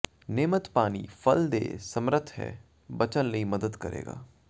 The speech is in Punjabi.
ਨਿਯਮਤ ਪਾਣੀ ਫਲ ਦੇ ਸਮੱਰਥ ਹੈ ਬਚਣ ਲਈ ਮਦਦ ਕਰੇਗਾ